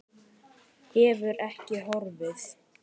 Hefur ekki horfið.